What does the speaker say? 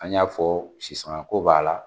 An y'a fɔ sisanga ko b'a la.